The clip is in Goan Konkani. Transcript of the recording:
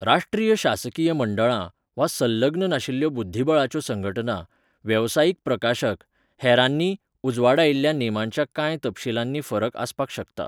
राष्ट्रीय शासकीय मंडळां, वा संलग्न नाशिल्ल्यो बुध्दिबळाच्यो संघटना, वेवसायीक प्रकाशक, हेरांनी, उजवाडायिल्ल्या नेमांच्या कांय तपशीलांनी फरक आसपाक शकता.